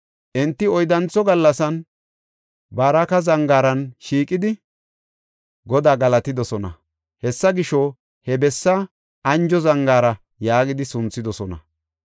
Enti oyddantho gallasan Baraka Zangaaran shiiqidi Godaa galatidosona. Hessa gisho he bessaa “Anjo Zangaara” yaagidi sunthidosona.